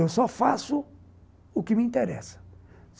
Eu só faço o que me interessa.